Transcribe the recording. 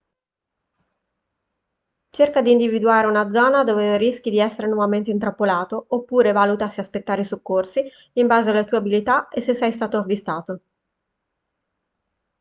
cerca di individuare una zona dove non rischi di essere nuovamente intrappolato oppure valuta se aspettare i soccorsi in base alle tue abilità e se sei stato avvistato